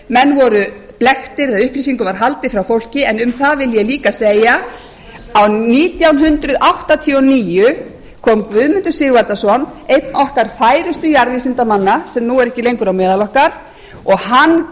menn voru blekktir eða upplýsingum var haldið frá fólki en um það vil ég líka segja að nítján hundruð áttatíu og níu kom guðmundur sigvaldason einn okkar færustu jarðvísindamanna sem nú er ekki lengur á meðal okkar og hann